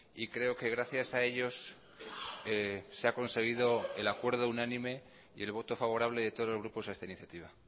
y creo que gracias a ellos se ha conseguido el acuerdo unánime y el voto favorable de todos los grupos a esta iniciativa